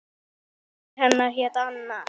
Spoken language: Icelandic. Móðir hennar hét Anna